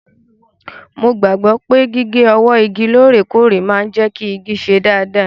Mo gbàgbọ́ pé gígé ọwọ́ igi lóòrèkóòrè máa ń jẹ́ kí igi ṣe dáadáa.